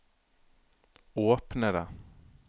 åpne det